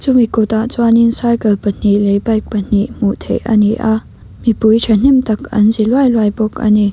chumi kawtah chuanin cycle pahnih leh bike pahnih hmuh theih a ni a mipui tha hnem tak an zi luai luai bawk a ni.